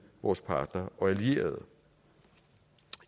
vores partnere og allierede